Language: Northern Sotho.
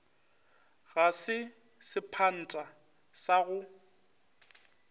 ga se sephantha sa go